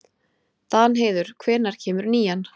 Danheiður, hvenær kemur nían?